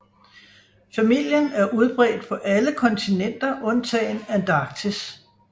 Familien er udbredt på alle kontinenter undtagen Antarktis